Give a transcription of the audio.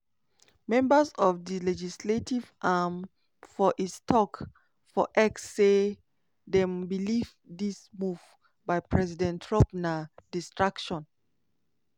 members of di legislative arm for is tok for x say dem believe dis move by president trump na distraction